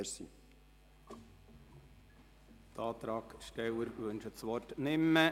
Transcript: Die Antragstellerin wünscht das Wort nicht mehr.